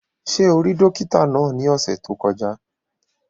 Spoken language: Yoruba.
Ṣé o rí dókítà náà ní ọ̀sẹ̀ tó kọjá?